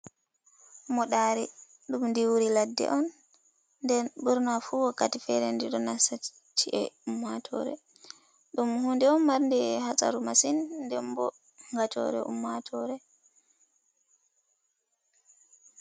Moɗari, ɗum diwwiri ladde on, nden ɓurna fu wakkati fere ɗi ɗo nasta chi'e ummatore, ɗum huɗe on marnde ha saru masin nɗembo gatore ummatore.